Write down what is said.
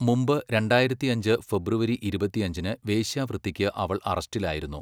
മുമ്പ് രണ്ടായിരത്തിയഞ്ച് ഫെബ്രുവരി ഇരുപത്തിയഞ്ചിന് വേശ്യാവൃത്തിക്ക് അവൾ അറസ്റ്റിലായിരുന്നു.